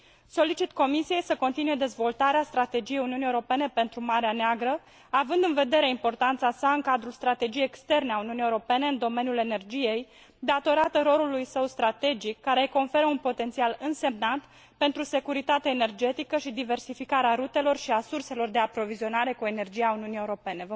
Solicit Comisiei să continue dezvoltarea Strategiei Uniunii Europene pentru Marea Neagră, având în vedere importanța sa în cadrul strategiei externe a Uniunii Europene în domeniul energiei, datorată rolului său strategic, care îi conferă un potențial însemnat pentru securitatea energetică și diversificarea rutelor și a surselor de aprovizionare cu energie a Uniunii Europene.